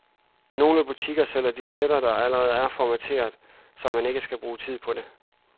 Nogle butikker sælger disketter, der allerede er formatteret, så man ikke skal bruge tid på det.